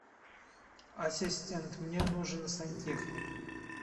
ассистент мне нужен сантехник